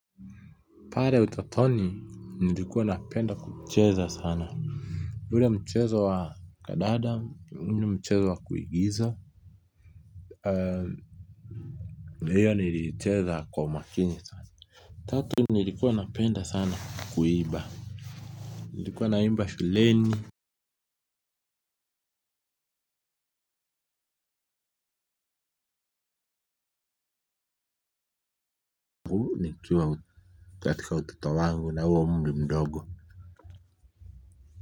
Pale utotoni nilikuwa napenda kucheza sana. Ule mchezo wa kandanda, mchezo wa kuigiza na hiyo niliicheza kwa umakini sana. Tatu nilikuwa napenda sana kuimba, nilikuwa naimba shuleni nikiwa katika utoto wangu na huo umri mdogo.